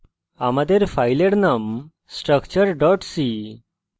আমাদের file name structure c